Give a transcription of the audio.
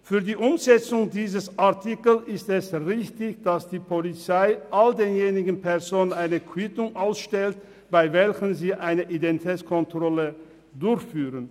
Für die Umsetzung dieses Artikels ist es richtig, dass die Polizei all jenen Personen eine Quittung ausstellt, bei welchen sie eine Identitätskontrolle durchführt.